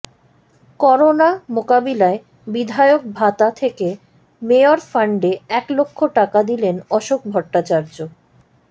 corona মোকাবিলায় বিধায়ক ভাতা থেকে মেয়র ফান্ডে এক লক্ষ টাকা দিলেন অশোক ভট্টাচার্য